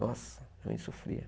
Nossa, minha mãe sofria.